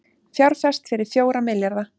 Fjárfest fyrir fjóra milljarða